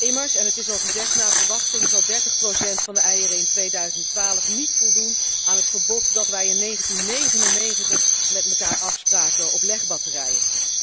Immers, en het is al gezegd, zal naar verwachting 30 procent van de eieren in 2012 niet voldoen aan het verbod dat wij in 1999 met elkaar afspraken op legbatterijen.